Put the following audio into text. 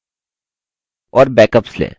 और backups लें